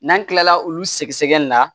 N'an kilala olu sɛgɛsɛgɛli la